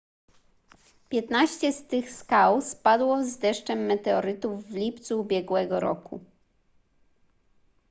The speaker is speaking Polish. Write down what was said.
piętnaście z tych skał spadło z deszczem meteorytów w lipcu ubiegłego roku